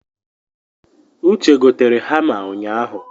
Uche gotere hama unyahụ